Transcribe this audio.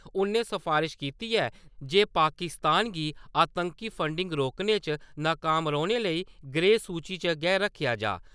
उन्नै सफारश कीती ऐ जे पाकिस्तान गी आतंकी फंडिंग रोकने च नकाम रौह्ने लेई ग्रे-सूचि च गै रक्खेआ जा ।